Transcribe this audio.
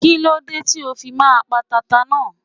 Kíló dé tí o fi máa pa tata náà.